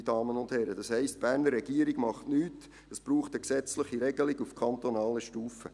Meine Damen und Herren, das heisst, die Berner Regierung tut nichts, es braucht eine gesetzliche Regelung auf kantonaler Stufe.